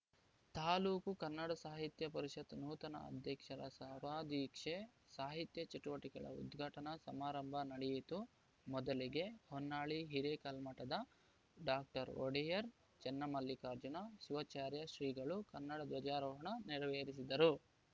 ತಾಲೂಕು ಕಸಾಪ ನೂತನ ಅಧ್ಯಕ್ಷರ ಸೇವಾದೀಕ್ಷೆ ಸಾಹಿತ್ಯ ಚಟುವಟಿಕೆಗಳ ಉದ್ಘಾಟನಾ ಸಮಾರಂಭ ನಡೆಯಿತು ಮೊದಲಿಗೆ ಹೊನ್ನಾಳಿ ಹಿರೇಕಲ್ಮಠದ ಡಾಒಡೆಯರ್‌ ಚನ್ನಮಲ್ಲಿಕಾರ್ಜುನ ಶಿವಾಚಾರ್ಯ ಶ್ರೀಗಳು ಕನ್ನಡ ಧ್ವಜಾರೋಹಣ ನೆರವೇರಿಸಿದರು